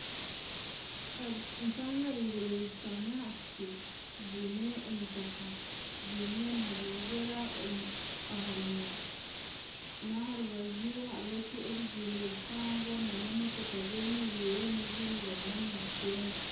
Empangare eibiri zishutami aha piki zaine emitaka zaine na vuvuzera aha munywa n'aha rubaju hariho ebizimbe bihango na n'emotooka zemereire n'ezindi zirimu nizigyenda.